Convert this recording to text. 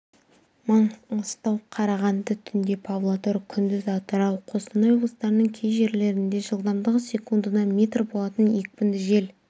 маңғыстау қарағанды түнде павлодар күндіз атырау қостанай облыстарының кей жерлерінде жылдамдығы секундына метр болатын екпінді жел